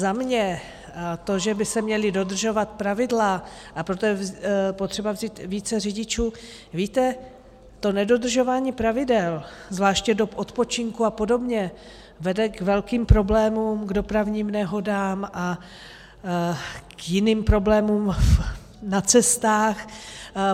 Za mě to, že by se měla dodržovat pravidla, a proto je potřeba vzít více řidičů - víte, to nedodržování pravidel, zvláště dob odpočinku a podobně, vede k velkým problémům, k dopravním nehodám a jiným problémům na cestách.